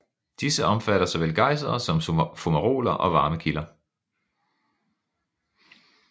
Disse omfatter såvel gejsere som fumaroler og varme kilder